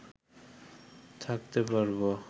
থাকতে পারব